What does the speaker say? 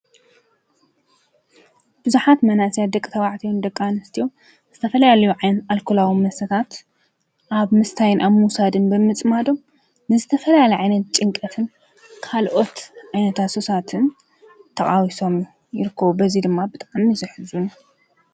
ብዙሓት መናእስያት ደቂ ተባዕትዮን ደቂ ኣንስዮን ዝተፈላለየ ኣልኮላዊ መሰተታት ኣብ ምስታይን ኣብ ሙዉሳድን ብምፅማዶም ንዝተፈላለየ ዓይነት ጭንቀትን ካልኦት ዓይነታ ሱሳትን ተቓዊሶም ይርክቡ፡፡ በዙይ ድማ ብጣዕሚ ይሕዝን፡፡